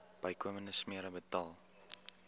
bykomende smere betaal